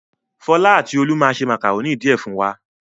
Fọlá àti Olú máa se màkàrónì díẹ̀ fún wa.